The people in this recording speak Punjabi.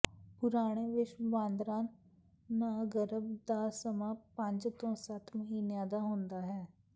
ਪੁਰਾਣੇ ਵਿਸ਼ਵ ਬਾਂਦਰਾਂ ਦਾ ਗਰਭ ਦਾ ਸਮਾਂ ਪੰਜ ਤੋਂ ਸੱਤ ਮਹੀਨਿਆਂ ਦਾ ਹੁੰਦਾ ਹੈ